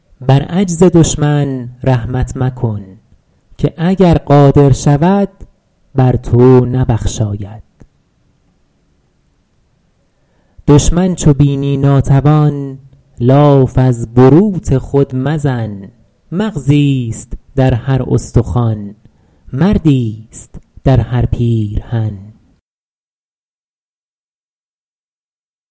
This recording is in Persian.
بر عجز دشمن رحمت مکن که اگر قادر شود بر تو نبخشاید دشمن چو بینی ناتوان لاف از بروت خود مزن مغزیست در هر استخوان مردیست در هر پیرهن